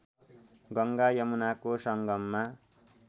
गङ्गा यमुनाको सङ्गममा